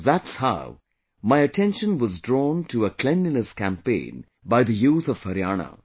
That's how my attention was drawn to a cleanliness campaign by the youth of Haryana